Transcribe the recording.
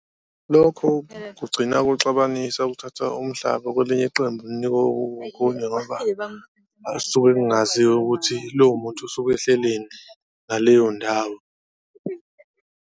Lokho kugcina kuxubanisa ukuthatha umhlaba kwelinye iqembu unikwa onkunye ngoba kusuke kungaziwa ukuthi lowo muntu usuke ehleleni ngaleyo ndawo.